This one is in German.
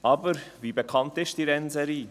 Aber: Wie bekannt ist diese Rennserie?